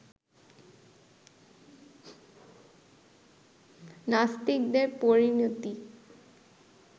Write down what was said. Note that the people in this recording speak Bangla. নাস্তিকদের পরিণতি